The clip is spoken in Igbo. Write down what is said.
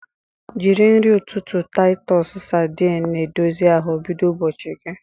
Jiri nri ụtụtụ Titus sardine na-edozi ahụ bido ụbọchị gị.